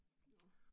Nåh